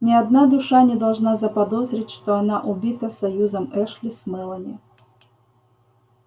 ни одна душа не должна заподозрить что она убита союзом эшли с мелани